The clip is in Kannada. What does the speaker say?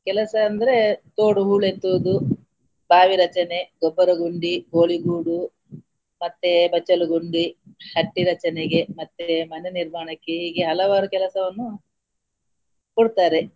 ಕೆಲಸ ಅಂದ್ರೆ ತೋಡು ಹೂಳೆತ್ತುವುದು, ಬಾವಿ ರಚನೆ, ಗೊಬ್ಬರ ಗುಂಡಿ, ಕೋಳಿಗೂಡು ಮತ್ತೆ ಬಚ್ಚಲು ಗುಂಡಿ, ಹಟ್ಟಿ ರಚನೆಗೆ ಮತ್ತೆ ಮನೆ ನಿಮಾರ್ಣಕ್ಕೆ ಹೀಗೆ ಹಲವಾರು ಕೆಲಸವನ್ನು ಕೊಡ್ತಾರೆ.